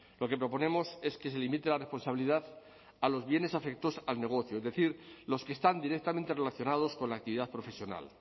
lo que proponemos es que se limite la responsabilidad a los bienes afectos al negocio es decir los que están directamente relacionados con la actividad profesional